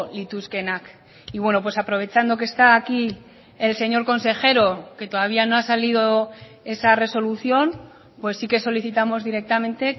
lituzkeenak y bueno pues aprovechando que está aquí el señor consejero que todavía no ha salido esa resolución pues sí que solicitamos directamente